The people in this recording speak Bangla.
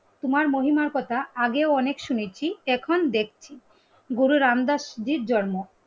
তোমার মহিমার কথা আগেও অনেক শুনেছি এখন দেখছি গুরু রাম দার স্মৃতির জন্ম